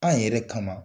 An yɛrɛ kama